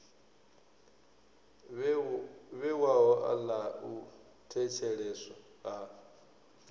vhewaho ḽa u thetsheleswa ha